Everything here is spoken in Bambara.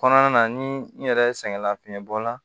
Kɔnɔna na ni n yɛrɛ sɛgɛnna fiɲɛ bɔ la